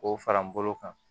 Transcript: K'o fara n bolo kan